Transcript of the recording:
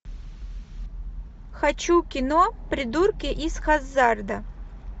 хочу кино придурки из хаззарда